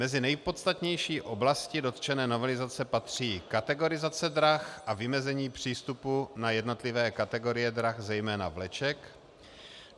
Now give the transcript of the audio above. Mezi nejpodstatnější oblasti dotčené novelizace patří kategorizace drah a vymezení přístupu na jednotlivé kategorie drah, zejména vleček;